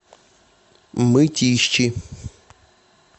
мытищи